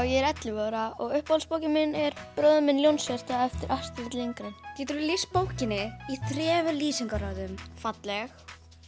ég er ellefu ára uppáhaldsbókin mín er bróðir minn Ljónshjarta eftir Astrid Lindgren geturðu lýst bókinni í þremur lýsingarorðum falleg